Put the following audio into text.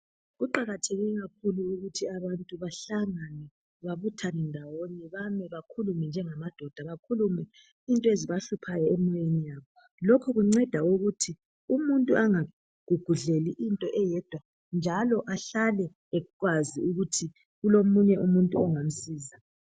Kuqakatheke kakhulu ukuthi abantu bahlangane babuthane ndawonye bake bakhulume njengamadoda. Bakhulume izinto ezibahluphayo emoyeni yabo lokhu kunceda ukuthi umuntu engagogodleli into eyedwa njalo ahlale esazi ukuthi kulomuntu ongamsiza.